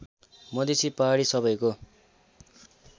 मधेसीपहाडी सबैको